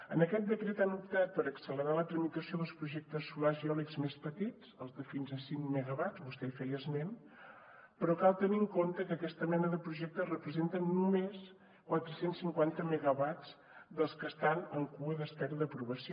en aquest decret han optat per accelerar la tramitació dels projectes solars i eòlics més petits els de fins a cinc megawatts vostè en feia esment però cal tenir en compte que aquesta mena de projectes representen només quatre cents i cinquanta megawatts dels que estan en cua a l’espera d’aprovació